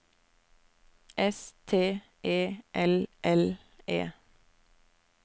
S T E L L E